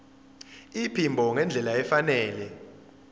iphimbo ngendlela efanele